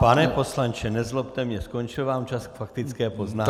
Pane poslanče, nezlobte mě, skončil vám čas k faktické poznámce.